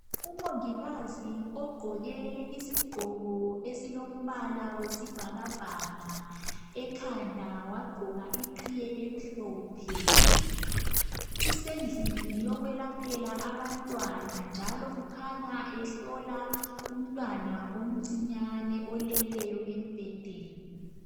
Umongikazi ogqoke isigqoko esilombala wesibhakabhaka ekhanda wagqoka iqhiye emhlophe usendlini yokwelaphela abantwana njalo kukhanya ehlola umntwana omncinyane oleleyo embhedeni.